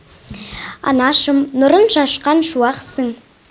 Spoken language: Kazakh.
анашым нұрын шашқан шуақсың